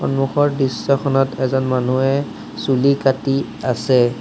সন্মুখৰ দৃশ্যখনত এজন মানুহে চুলি কাটি আছে।